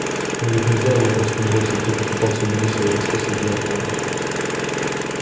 но ведь нельзя его просто бросить тихо пытался убедить своего спасителя артём